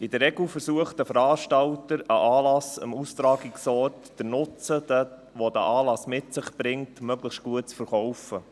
In der Regel versucht der Veranstalter eines Anlasses, dem Austragungsort den Nutzen, den dieser Anlass mit sich bringt, möglichst gut zu verkaufen.